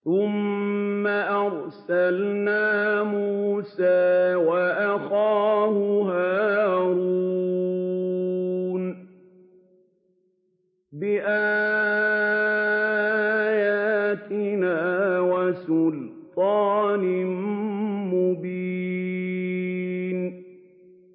ثُمَّ أَرْسَلْنَا مُوسَىٰ وَأَخَاهُ هَارُونَ بِآيَاتِنَا وَسُلْطَانٍ مُّبِينٍ